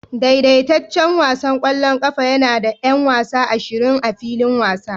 Daidaitaccen wasan ƙwallon ƙafa yana da 'yan wasa ashirin a filin wasa